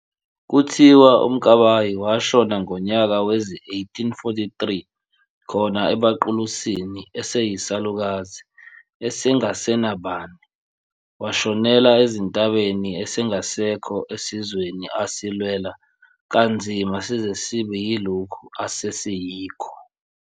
Kuthiwa uMkabayi washona ngonyaka wezi-1843 khona ebaQulusini eseyisalukazi esengasenabani, washonela ezintabeni esengasekho esizweni asilwela kanzima size sibe yilokhu asesiyikho.